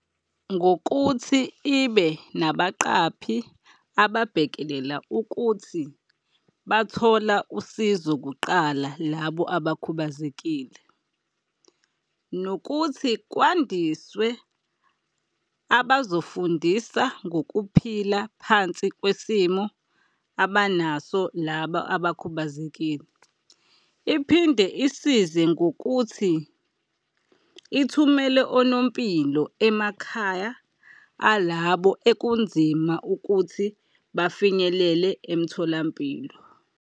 Ngokuthi ibe nabaqaphi ababhekelela ukuthi bathola usizo kuqala labo abakhubazekile nokuthi kwandiswe abazofundisa ngokuphila phansi kwesimo abanaso laba abakhubazekile. Iphinde isize ngokuthi ithumele onompilo emakhaya alabo ekunzima ukuthi bafinyelele emtholampilo.